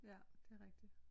Ja det er rigtigt